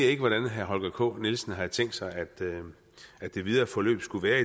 ikke hvordan herre holger k nielsen har tænkt sig at det videre forløb skulle være